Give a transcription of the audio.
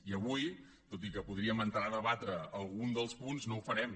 i avui tot i que podríem entrar a debatre’n alguns dels punts no ho farem